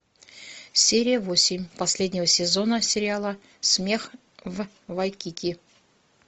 серия восемь последнего сезона сериала смех в вайкики